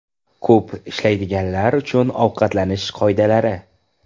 Ko‘p ishlaydiganlar uchun ovqatlanish qoidalari.